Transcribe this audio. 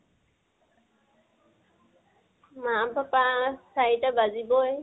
মা papa চাৰিটা বাজিবই।